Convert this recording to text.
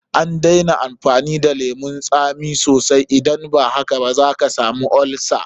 A daina amfani da lemun tsami sosai, idan ba haka zaka samu olsa.